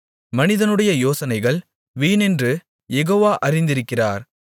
மனிதனுடைய யோசனைகள் வீணென்று யெகோவா அறிந்திருக்கிறார்